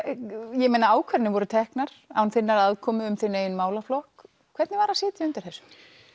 ég meina ákvarðanir voru teknar án þinnar aðkomu um þinn málaflokk hvernig var að sitja undir þessu